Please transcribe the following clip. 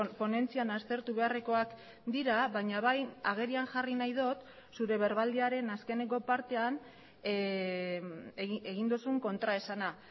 ponentzian aztertu beharrekoak dira baina bai agerian jarri nahi dut zure berbaldiaren azkeneko partean egin duzun kontraesana